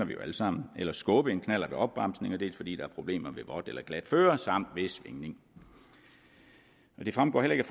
vi jo alle sammen eller skubbe en knallert ved opbremsning dels fordi der er problemer ved vådt eller glat føre samt ved svingning det fremgår heller ikke